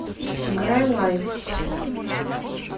играй лайф